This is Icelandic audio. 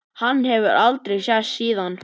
Hann hefur aldrei sést síðan.